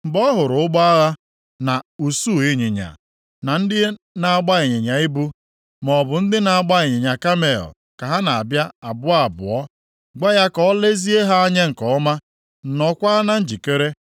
Mgbe ọ hụrụ ụgbọ agha, na usuu ịnyịnya, na ndị na-agba ịnyịnya ibu, maọbụ ndị na-agba ịnyịnya kamel ka ha na-abịa abụọ abụọ, gwa ya ka o lezie ha anya nke ọma, nọọkwa na njikere.”